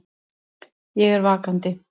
Ég er vakandi.